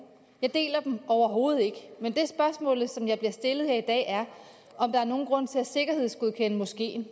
jeg deler dem overhovedet ikke men det spørgsmål jeg bliver stillet her i dag er om der er nogen grund til at sikkerhedsgodkende moskeen